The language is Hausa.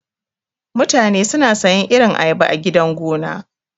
Mutane suna sayan irin ayaba a gidan gona.